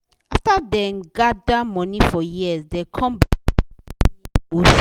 after dem gather money for years dem com buy house wey near ocean